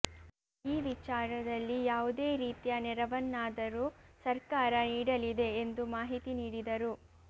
ಈ ವಿಚಾರದಲ್ಲಿ ಯಾವುದೇ ರೀತಿಯ ನೆರವನ್ನಾದರೂ ಸರ್ಕಾರ ನೀಡಲಿದೆ ಎಂದು ಮಾಹಿತಿ ನೀಡಿದರು